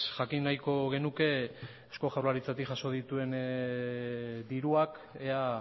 jakin nahiko genuke eusko jaurlaritzatik jaso dituen diruak ea